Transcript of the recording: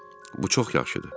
Bu çox yaxşıdır.